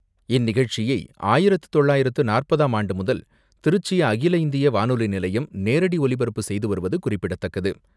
இந்நிகழ்ச்சியை ஆயிரத்து தொள்ளாயிரத்து நாற்பதாம் ஆண்டுமுதல், திருச்சி அகில இந்திய வானொலி நிலையம் நேரடி ஒலிபரப்பு செய்துவருவது குறிப்பிடத்தக்கது.